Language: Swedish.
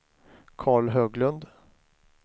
Karl Höglund